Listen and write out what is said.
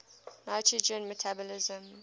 nitrogen metabolism